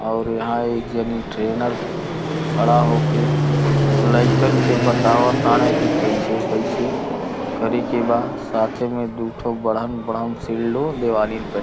और यहाँ एक जनी ट्रेनर खड़ा होके लइकन के बताव ताड़े कि कैसे कैसे करे के बा। साथ ही में दुठो बड़हन बड़हन शील्डो दीवालीन पे --